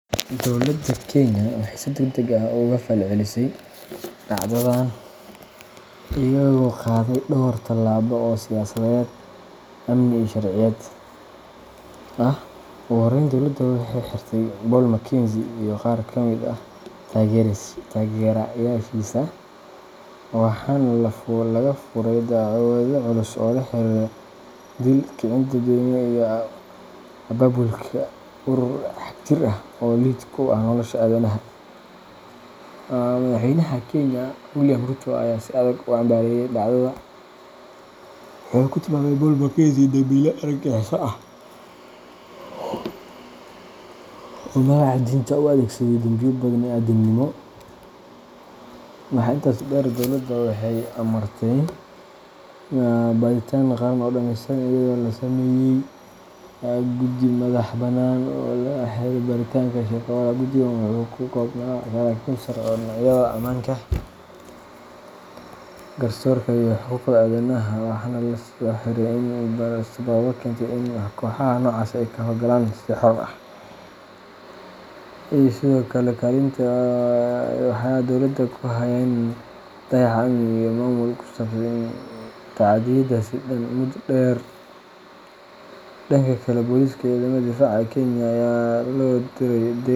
Dowladda Kenya waxay si degdeg ah uga falcelisay dhacdadan iyadoo qaaday dhowr tallaabo oo siyaasadeed, amni, iyo sharciyeed ah. Ugu horreyn, dowladda waxay xirtay Paul Mackenzie iyo qaar ka mid ah taageerayaashiisa, waxaana laga furay dacwado culus oo la xiriira dil, kicin dadweyne, iyo abaabulka urur xagjir ah oo lid ku ah nolosha aadanaha. Madaxweynaha Kenya, William Ruto, ayaa si adag u cambaareeyay dhacdada, wuxuuna ku tilmaamay Paul Mackenzie "dambiile argagixiso ah" oo magaca diinta u adeegsaday dambiyo bani’aadamnimo. Waxaa intaas dheer, dowladda waxay amartay baadhitaan qaran oo dhameystiran, iyadoo la sameeyay guddi madax-bannaan oo loo xilsaaray baaritaanka Shakahola. Guddigan wuxuu ka koobnaa saraakiil sare oo dhinacyada ammaanka, garsoorka, iyo xuquuqda aadanaha ah, waxaana loo xilsaaray in ay baaraan sababaha keentay in kooxaha noocaas ah ay ka howlgalaan si xor ah, iyo sidoo kale kaalinta ay waaxaha dowladda ku lahaayeen dayaca amni iyo maamul ee sababtay in tacaddiyadaasi dhacaan muddo dheer. Dhanka kale, booliska iyo ciidamada difaaca ee Kenya ayaa loo diray.